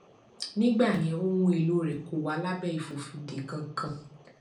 nígbà yẹn ohun èlò rẹ kò wà lábẹ ìfòfinde kankan